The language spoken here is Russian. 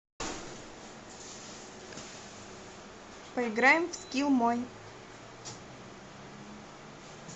поиграем в скилл мой